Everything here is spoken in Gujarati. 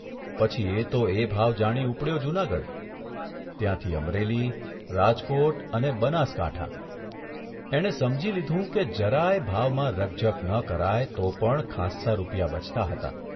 પછી એ તો એ ભાવ જાણી ઉપડ્યો જૂનાગઢ, ત્યાંથી અમરેલી, રાજકોટ અને બનાસકાંઠા એણે સમજી લીધું કે જરાય ભાવમાં રકઝક ન કરાય તો પણ ખાસ્સા રૂપિયા બચતા હતા.